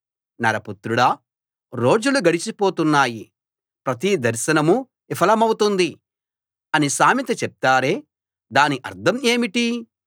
నరపుత్రుడా రోజులు గడిచి పోతున్నాయి ప్రతి దర్శనమూ విఫలమవుతుంది అని సామెత చెప్తారే దాని అర్థం ఏమిటి